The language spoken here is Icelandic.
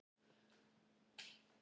Hún hreyfist öll sem í dansi.